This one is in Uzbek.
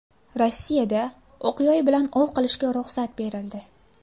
Rossiyada o‘q-yoy bilan ov qilishga ruxsat berildi.